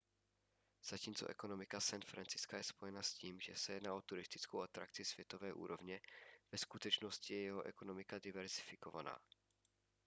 zatímco ekonomika san francisca je spojena s tím že se jedná o turistickou atrakci světové úrovně ve skutečnosti je jeho ekonomika diverzifikovaná